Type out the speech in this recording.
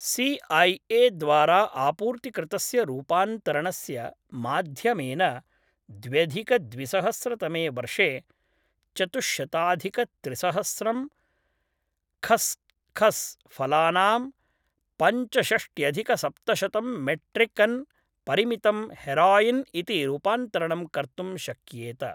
C I A द्वारा आपूर्तिकृतस्य रूपान्तरणस्य माध्यमेन द्व्यधिकद्विसहस्रतमे वर्षे चतुश्शताधिकत्रिसहस्रं खस्खस् फलानां पञ्चषष्ट्यधिकसप्तशतं मेट्रिक्टन् परिमितं हेरोइन् इति रूपान्तरणं कर्तुं शक्येत।